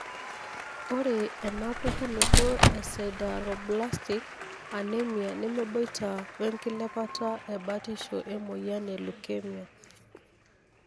ore ena pukunoto e sideroblastic anemia nemeboita we nkilepata ebatisho emoyian leukemia.